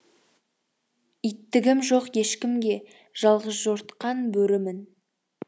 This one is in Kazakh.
иттігім жоқ ешкімге жалғызжортқан бөрімін